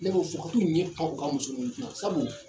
Ne b'o fɔ ka t'u ɲɛ pan u ka muso ninnu kunna sabu